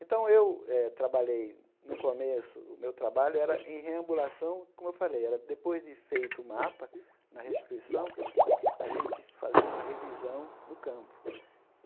Então, eu eh trabalhei, no começo, o meu trabalho era em reambulação, como eu falei, era depois de feito o mapa, na restituição, a gente fazia uma revisão no campo.